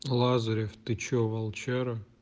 лазарев ты что волчара